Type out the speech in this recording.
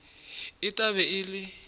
e tla be e le